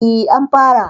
E, an fara.